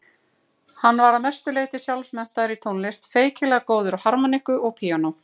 Hann var að mestu leyti sjálfmenntaður í tónlist, feikilega góður á harmóníku og píanó.